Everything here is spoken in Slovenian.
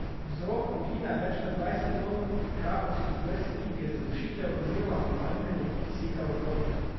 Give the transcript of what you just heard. Vzrok pogina več kot dvajset ton krapovskih vrst rib je zadušitev oziroma pomanjkanje kisika v vodi.